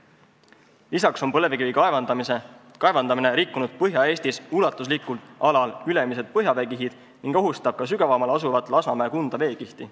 Peale selle on põlevkivi kaevandamine rikkunud Põhja-Eestis ulatuslikul alal ülemised põhjaveekihid ning ohustab ka sügavamal asuvat Lasnamäe-Kunda veekihti.